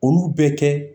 Olu bɛ kɛ